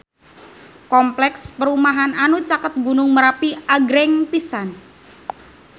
Kompleks perumahan anu caket Gunung Merapi agreng pisan